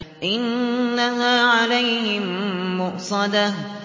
إِنَّهَا عَلَيْهِم مُّؤْصَدَةٌ